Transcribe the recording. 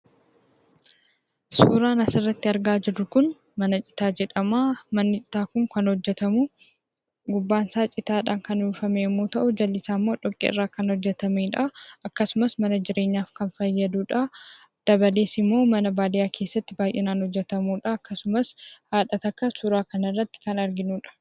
Suuraan asirratti argaa jirru Kun, mana citaa jedhamaa. Manni citaa Kun kan hojjetamuu gubbaan isaa citaadhaan kan uwwifame yoo ta'u, jalli isaa immoo dhoqqee irraa kan hojjetamedhaa, akkasumas mana jireenyaaf kan fayyadudhaa . Dabalees immoo, mana baadiyyaa keessaatti baayyinaan kan hojjetamudhaa, akkasumas haadha tokko suuraa kana irratti kan arginuudha.